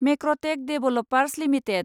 मेक्रटेक developers limited